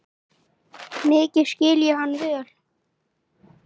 Mikið skil ég hann vel.